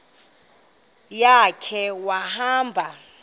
ya khe wahamba